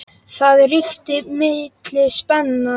Það ríkti mikil spenna.